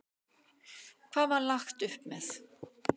Hvað var lagt upp með?